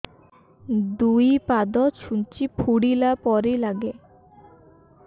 ଦୁଇ ପାଦ ଛୁଞ୍ଚି ଫୁଡିଲା ପରି ଲାଗେ